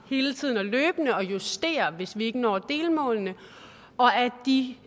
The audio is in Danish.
hele tiden løbende og justerer det hvis vi ikke når delmålene og at de